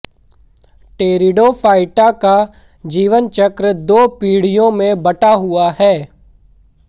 pteridophyta का जीवनचक्र दो पीढ़ियों में बँटा हुआ है